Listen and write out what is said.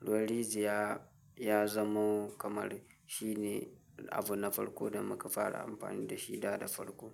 Ruwan rijiya ya zamo kamar shi ne abu na farko da muka fara amfani da shi da, da farko.